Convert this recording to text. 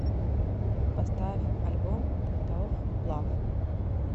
поставь альбом тоф лав